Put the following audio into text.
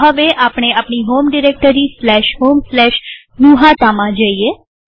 તો હવે આપણે આપણી હોમ ડિરેક્ટરી homegnuhataમાં છીએ